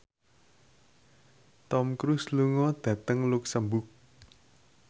Tom Cruise lunga dhateng luxemburg